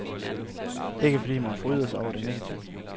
Ikke fordi man fryder sig over det negative.